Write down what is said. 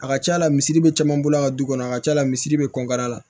A ka ca la misiri be caman bolo ka du kɔnɔ a ka ca la misiri be kɔn ka la